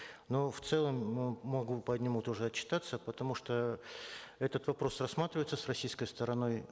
но в целом э могу по нему тоже отчитаться потому что этот вопрос рассматривается с российской стороной